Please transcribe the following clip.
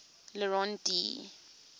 le rond d